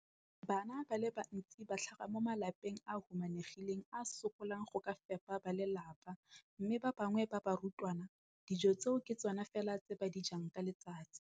Bana ba le bantsi ba tlhaga mo malapeng a a humanegileng a a sokolang go ka fepa ba lelapa mme ba bangwe ba barutwana, dijo tseo ke tsona fela tse ba di jang ka letsatsi.